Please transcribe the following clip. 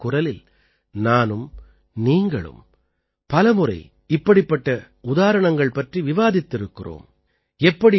மனதின் குரலில் நானும் நீங்களும் பல முறை இப்படிப்பட்ட உதாரணங்கள் பற்றி விவாதித்திருக்கிறோம்